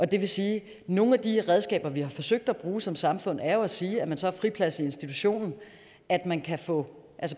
det vil sige at nogle af de redskaber vi har forsøgt at bruge som samfund jo er at sige at man så har friplads i institutionen og at man kan få